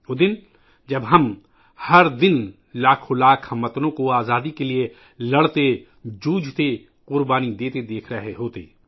وہ دن ، جب ہم ہر دن لاکھوں ہم وطنوں کو آزادی کے لئے لڑتے ، جوجھتے ، قربانی دیتے دیکھ رہے ہوتے